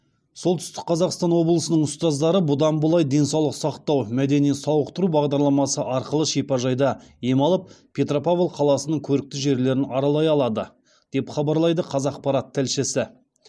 солтүстік қазақстан облысының ұстаздары бұдан былай денсаулық мәдени сауықтыру бағдарламасы арқылы шипажайда ем алып петропавл қаласының көрікті жерлерін аралай алады деп хабарлайды қазақпарат тілшісі